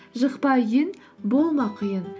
жықпа үйін болма құйын